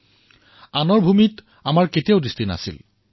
আমাৰ দৃষ্টি কাৰো ভূমিৰ ওপৰত নাছিল